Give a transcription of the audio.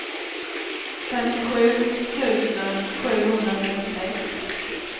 femtiosju tusen sjuhundratrettiosex